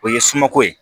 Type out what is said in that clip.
O ye suma ko ye